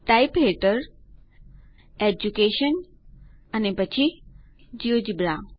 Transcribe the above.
type હેઠળ education અને પછી જિયોજેબ્રા